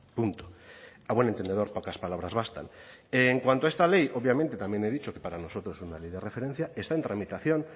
punto a buen entendedor pocas palabras bastan en cuanto a esta ley obviamente también he dicho que para nosotros es una ley de referencia está en tramitación